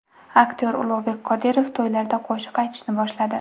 Aktyor Ulug‘bek Qodirov to‘ylarda qo‘shiq aytishni boshladi.